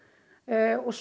svo